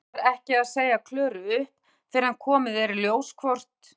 En hann ætlar ekki að segja Klöru upp fyrr en komið er í ljós hvort